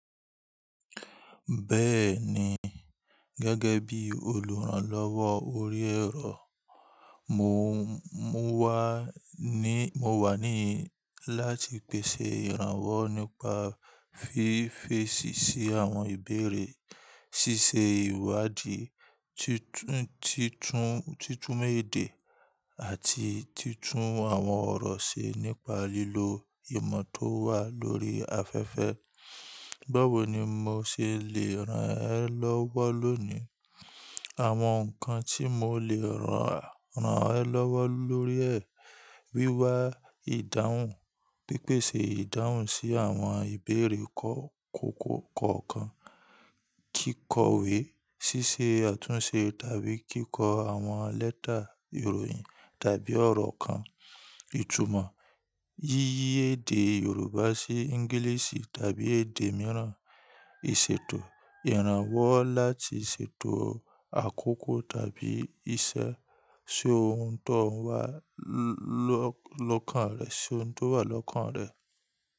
Bẹ́ẹ̀ni, gẹ́gẹ́ bí olùrànlọ́wọ́ orí ẹ̀rọ, mo, mo wà ní, mo wà níì láti pèsè ìrànwọ́ nípa fífe èsì sí àwọn ìbéèrè, ṣíṣe ìwádìí, títún, títún, títún mọ ede àti títún àwọn ọ̀rọ̀ ṣe nípa lílo ìmọ̀ tó wà lórí afẹ́fẹ́. Báwo ni mo ṣe le ràn ẹ́ lọ́wọ́ lónìí? Àwọn nǹkan tí mo lè ràn ẹ́ lọ́wọ́ lórí ẹ̀, wíwá ìdáhùn, pípèsè ìdáhùn sí àwọn ìbéèrè kọ̀ọ̀kan kọ̀ọ̀kan, kíkọ̀wé, ṣíṣe àtúnṣe tàbí kíkọ àwọn lẹ́tà ìròyìn tàbí ọ̀rọ̀ kan, ìtumọ̀ yíyí èdè Yorùbá sí English tàbí èdè mìíràn, ìṣètò, ìrànwọ́ láti ṣètò àkókò tàbí iṣẹ́, ṣe ohun tó wà lọ́kàn rẹ, ṣe ohun tó wà lọ́kàn rẹ.